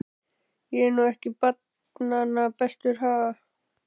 Ég er nú ekki barnanna bestur, ha.